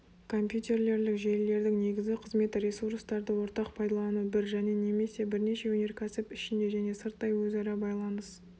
компьютерлерлік желілердің негізгі қызметі ресурстарды ортақ пайдалану бір және немесе бірнеше өнеркәсіп ішінде және сырттай өзара байланыс